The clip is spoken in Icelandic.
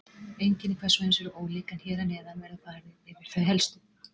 Einkenni hvers og eins eru ólík en hér að neðan verður farið yfir þau helstu.